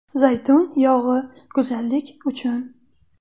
Zaytun yog‘i go‘zallik uchun.